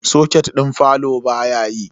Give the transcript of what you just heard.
Soket din falo baya yi.